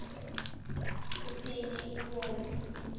utsini imibono